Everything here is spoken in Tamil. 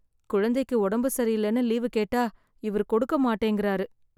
குழந்தைக்கு உடம்பு சரியில்லன்னு லீவு கேட்டா இவர் கொடுக்க மாட்டேங்குறாரு